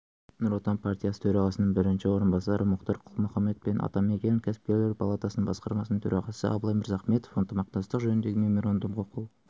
нұр отан партиясы төрағасының бірінші орынбасары мұхтар құл-мұхаммед пен атамекен ұлттық кәсіпкерлер палатасының басқарма төрағасы абылай мырзахметов ынтымақтастық жөніндегі меморандумға қол